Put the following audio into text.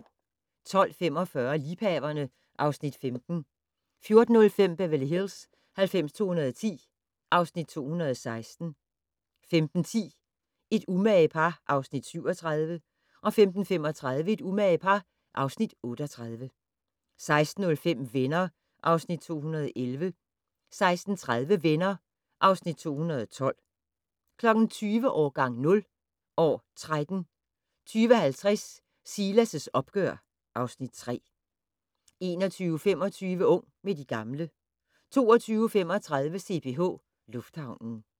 12:45: Liebhaverne (Afs. 15) 14:05: Beverly Hills 90210 (Afs. 216) 15:10: Et umage par (Afs. 37) 15:35: Et umage par (Afs. 38) 16:05: Venner (Afs. 211) 16:30: Venner (Afs. 212) 20:00: Årgang 0 - år 13 20:50: Silas' opgør (Afs. 3) 21:25: Ung med de gamle 22:35: CPH Lufthavnen